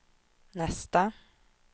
nästa